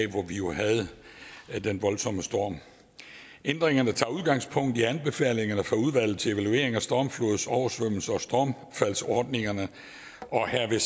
hvor vi jo havde den voldsomme storm ændringerne tager udgangspunkt i anbefalingerne fra udvalget til evaluering af stormflods oversvømmelses og stormfaldsordningerne og herved